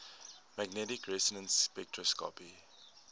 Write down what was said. magnetic resonance spectroscopy